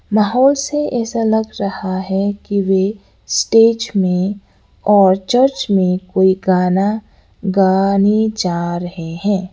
माहौल से ऐसा लग रहा है कि वह स्टेज में और चर्च में कोई गाना गाने जा रहे हैं।